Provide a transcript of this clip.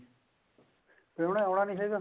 ਉਹਨਾ ਨੇ ਆਉਣਾ ਨੀ ਹੈਗਾ